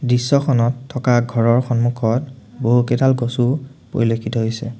দৃশ্যখনত থকা ঘৰৰ সন্মুখত বহুকেইডাল গছও পৰিলক্ষিত হৈছে।